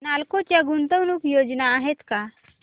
नालको च्या गुंतवणूक योजना आहेत का